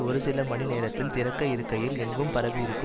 ஒரு சில மணி நேரத்தில் திறக்க இருக்கையில் எங்கும் பரவியிருக்கும்